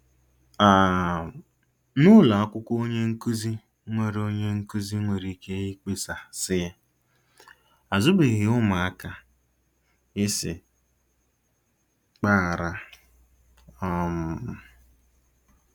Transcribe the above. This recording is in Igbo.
um N'ụlọ akwụkwọ onye nkụzi nwere onye nkụzi nwere ike ịkpesa sị, ' Azụbeghị ụmụaka ị sị gbaghara. ' um